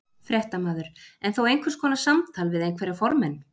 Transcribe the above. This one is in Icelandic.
Fréttamaður: En þó einhvers konar samtal við einhverja formenn?